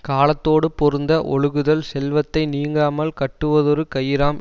காலத்தோடு பொருந்த ஒழுகுதல் செல்வத்தை நீங்காமல் கட்டுவதொரு கயிறாம்